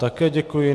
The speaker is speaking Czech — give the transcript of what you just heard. Také děkuji.